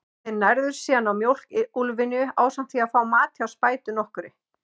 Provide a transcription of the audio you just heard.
Þeir nærðust síðan á mjólk úlfynju, ásamt því að fá mat hjá spætu nokkurri.